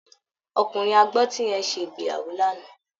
Ọkùnrin agbọ́tí yẹn ṣe ìgbéyàwó lánàá